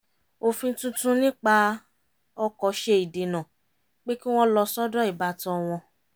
òfin tuntun nípa ọkọ̀ ṣe ìdènà pé kí wọ́n lọ sọ́dọ̀ ìbátan wọn